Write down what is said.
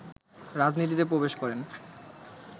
রাজনীতিতে প্রবেশ করেন